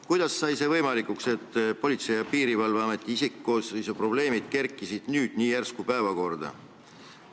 Kuidas sai võimalikuks, et Politsei- ja Piirivalveameti isikkoosseisu probleemid kerkisid nii järsku päevakorrale?